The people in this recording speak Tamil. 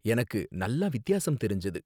எனக்கு நல்லா வித்தியாசம் தெரிஞ்சது